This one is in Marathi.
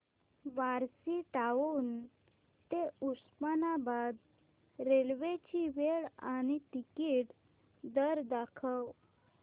बार्शी टाऊन ते उस्मानाबाद रेल्वे ची वेळ आणि तिकीट दर दाखव